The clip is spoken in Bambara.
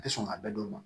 A tɛ sɔn ka bɛɛ don ma